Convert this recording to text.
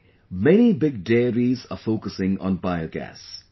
Today many big dairies are focusing on biogas